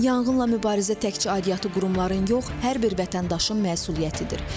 Yanğınla mübarizə təkcə aidiyyatı qurumların yox, hər bir vətəndaşın məsuliyyətidir.